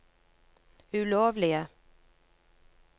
ulovlige